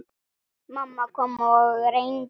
Mamma kom og reyndi.